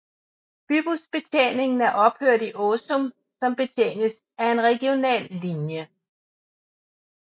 Bybusbetjeningen er ophørt i Åsum som betjenes af en regional linje